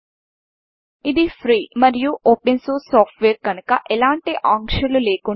ఇది ఫ్రీ మరియు open source software కనుక ఎలాంటి ఆంక్షలు లేకుండా పంచుకోవచ్చు మార్పుచేయవచ్చు మరియు పంపిణీ చేయవచ్చు